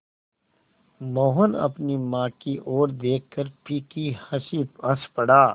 मोहन अपनी माँ की ओर देखकर फीकी हँसी हँस पड़ा